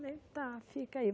Falei, tá, fica aí.